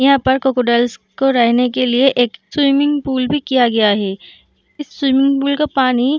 यहां पर क्रोकोडाइल्स को रहने के लिए एक स्विमिंग भी किया गया है इस स्विमिंग पूल का पानी --